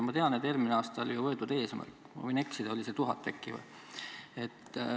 Ma tean, et eelmisel aastal oli võetud eesmärk – ma võin ka eksida –1000 töökohta.